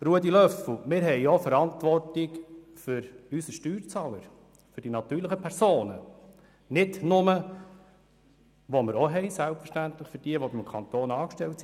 Ruedi Löffel, wir tragen auch Verantwortung für unsere Steuerzahler, für die natürlichen Personen, nicht nur für diejenigen, die beim Kanton angestellt sind.